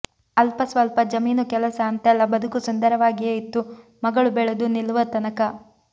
ಅಲ್ಪ ಸ್ವಲ್ಪ ಜಮೀನು ಕೆಲಸ ಅಂತೆಲ್ಲ ಬದುಕು ಸುಂದರವಾಗಿಯೇ ಇತ್ತು ಮಗಳು ಬೆಳೆದು ನಿಲ್ಲುವತನಕ